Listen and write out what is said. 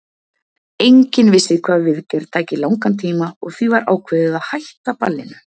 Enginn vissi hvað viðgerð tæki langan tíma og því var ákveðið að hætta ballinu.